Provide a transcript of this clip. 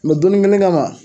No donni kelen kama